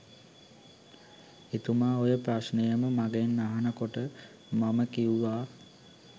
එතුමා ඔය ප්‍රශ්නයම මගෙන් අහන කොට මම කිව්වා